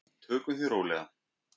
Tökum því bara rólega.